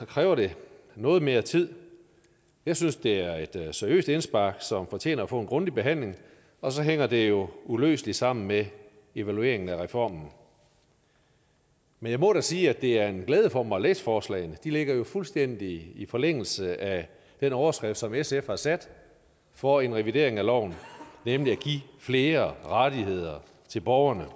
kræver det noget mere tid jeg synes det er et seriøst indspark som fortjener at få en grundig behandling og så hænger det jo uløseligt sammen med evalueringen af reformen men jeg må da sige at det er en glæde for mig at læse forslagene de ligger jo fuldstændig i forlængelse af den overskrift som sf har sat for en revidering af loven nemlig at give flere rettigheder til borgerne